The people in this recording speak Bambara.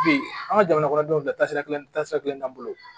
Bi an ka jamana kɔnɔ denw bilasirali taasira kelen t'an bolo